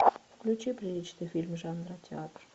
включи приличный фильм жанра театр